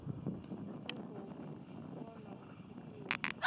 tshi khou vhona u pfukiwa